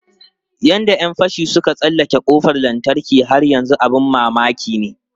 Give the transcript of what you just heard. Yadda ‘yan fashin suka tsallake kofar lantarki har yanzu abin mamaki ne.